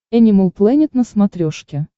энимал плэнет на смотрешке